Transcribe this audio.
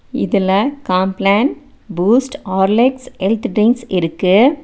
இதுல Complan Boost Horlicks health drinks இருக்கு.